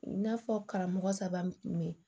I n'a fɔ karamɔgɔ saba kun be yen